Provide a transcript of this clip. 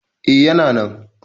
eh yana na